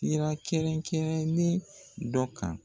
Sira kɛrɛn kɛrɛnnen dɔ kan